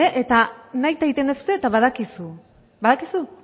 eta nahita egiten duzue eta badakizu badakizu